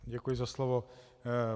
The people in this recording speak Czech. Děkuji za slovo.